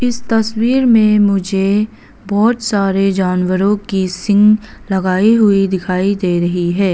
इस तस्वीर में मुझे बहुत सारे जानवरों की सिंह लगाई हुई दिखाई दे रही है।